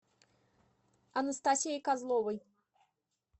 анастасией козловой